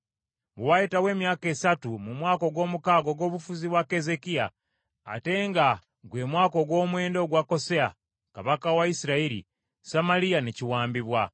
Bwe wayitawo emyaka esatu, mu mwaka ogw’omukaga ogw’obufuzi bwa Keezeekiya, ate nga gwe mwaka ogw’omwenda ogwa Koseya kabaka wa Isirayiri, Samaliya ne kiwambibwa.